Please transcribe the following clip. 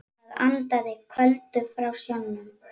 Það andaði köldu frá sjónum.